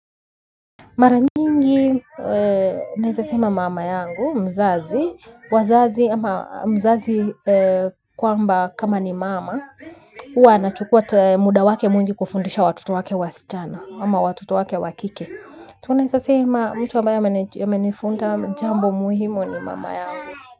Mara nyingi, naeza sema mama yangu, mzazi, wazazi ama mzazi kwamba kama ni mama, huwa anachukua muda wake mwingi kuwafundisha watoto wake wasichana ama watoto wake wakike. Tunaeza sema mtu ambaye amenifunza jambo muhimu ni mama yangu.